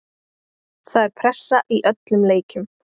Það er pressa í öllum leikjum.